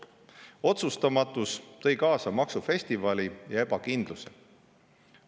Otsustamatus tõi kaasa maksufestivali ja ebakindluse.